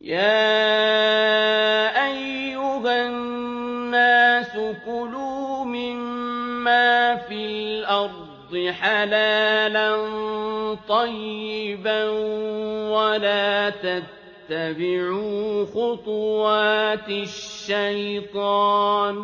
يَا أَيُّهَا النَّاسُ كُلُوا مِمَّا فِي الْأَرْضِ حَلَالًا طَيِّبًا وَلَا تَتَّبِعُوا خُطُوَاتِ الشَّيْطَانِ ۚ